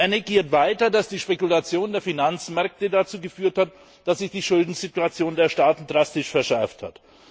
Er negiert weiter, dass die Spekulation der Finanzmärkte dazu geführt hat, dass sich die Schuldensituation der Staaten drastisch verschärft hat.